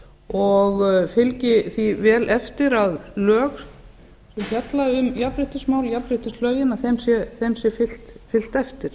og fylgi því vel eftir að lög sem fjalla um jafnréttismál jafnréttislögunum sé fylgt eftir